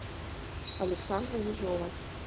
александра ежова